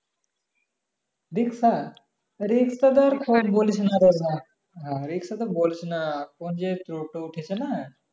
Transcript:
রিক্সা রিক্সা তো কথা বলছি না রে ভাই না রিক্সা তো বলছি না বলছি টোটো